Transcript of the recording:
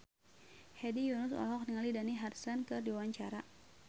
Hedi Yunus olohok ningali Dani Harrison keur diwawancara